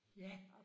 Ja